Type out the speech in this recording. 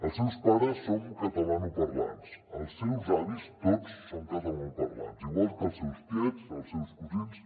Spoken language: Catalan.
els seus pares som catalanoparlants els seus avis tots són catalanoparlants igual que els seus tiets els seus cosins